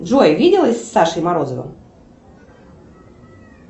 джой виделась с сашей морозовым